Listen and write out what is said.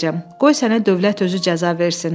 Qoy sənə dövlət özü cəza versin.